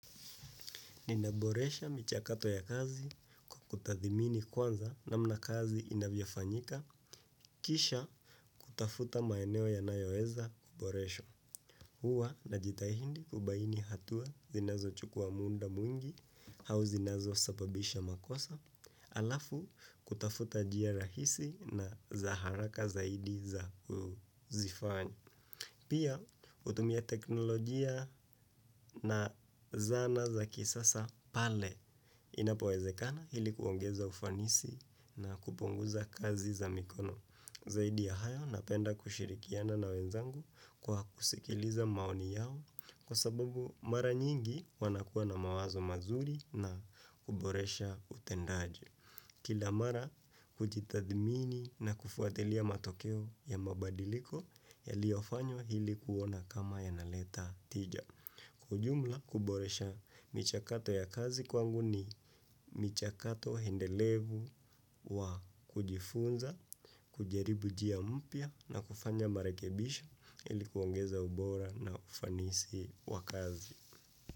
Ninaboresha michakato ya kazi, kwa kutathmini kwanza namna kazi inavyofanyika, kisha kutafuta maeneo yanayoeza kuboreshwa. Huwa najitahindi kubaini hatua zinazochukua muda mwingi, au zinazosababisha makosa, alafu kutafuta njia rahisi na za haraka zaidi za kuzifanya. Pia hutumia teknolojia na zana za kisasa pale inapowezekana ili kuongeza ufanisi na kupunguza kazi za mikono. Zaidi ya hayo napenda kushirikiana na wenzangu kwa kusikiliza maoni yao kwa sababu mara nyingi wanakuwa na mawazo mazuri na kuboresha utendaji. Kila mara kujitathmini na kufuatilia matokeo ya mabadiliko yaliyofanywa ili kuona kama yanaleta tija. Kwa ujumla kuboresha michakato ya kazi kwangu ni michakato endelevu wa kujifunza, kujaribu njia mpya na kufanya marekebisho ili kuongeza ubora na ufanisi wa kazi.